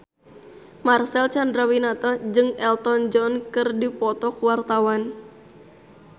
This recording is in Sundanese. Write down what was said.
Marcel Chandrawinata jeung Elton John keur dipoto ku wartawan